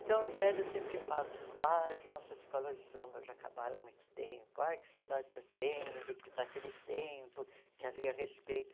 Então, os velhos sempre falam, ah as nossas escolas de samba já acabaram há muito tempo, ai que saudade que eu tenho de daquele tempo que havia respeito.